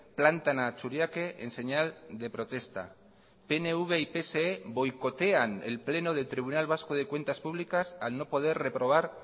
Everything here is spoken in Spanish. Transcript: plantan a churiaque en señal de protesta pnv y pse boicotean el pleno del tribunal vasco de cuentas públicas al no poder reprobar